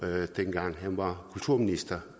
med dengang han var kulturminister